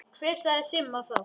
Hver sagði Simma það?